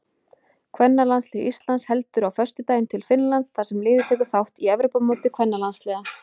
Kvennalandslið Íslands heldur á föstudaginn til Finnlands þar sem liðið tekur þátt í Evrópumóti kvennalandsliða.